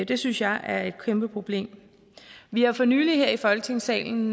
det synes jeg er et kæmpe problem vi har for nylig her i folketingssalen